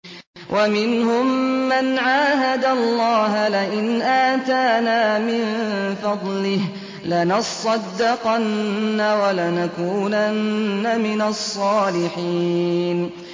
۞ وَمِنْهُم مَّنْ عَاهَدَ اللَّهَ لَئِنْ آتَانَا مِن فَضْلِهِ لَنَصَّدَّقَنَّ وَلَنَكُونَنَّ مِنَ الصَّالِحِينَ